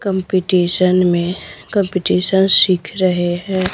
Competition में competition शीख रहे हैं।